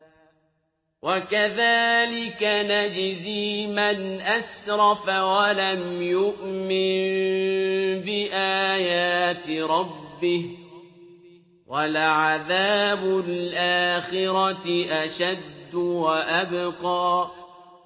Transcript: وَكَذَٰلِكَ نَجْزِي مَنْ أَسْرَفَ وَلَمْ يُؤْمِن بِآيَاتِ رَبِّهِ ۚ وَلَعَذَابُ الْآخِرَةِ أَشَدُّ وَأَبْقَىٰ